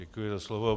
Děkuji za slovo.